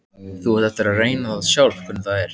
Þú átt eftir að reyna það sjálf hvernig það er.